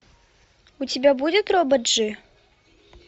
у тебя будет робот джи